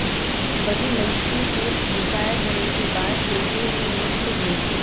वही मिलिट्री से रिटायर होने के बाद रेलवे में नियुक्त हुए थे